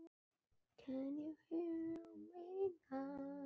Sumir sjá unga konu, aðrir gamla, en aldrei báðar í einu.